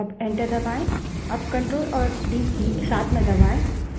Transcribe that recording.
अब ctrl और d की साथ में दबायें